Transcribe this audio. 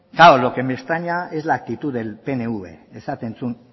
claro lo que me extraña es la actitud del pnv esaten zuen